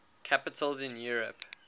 capitals in europe